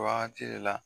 Wagati de la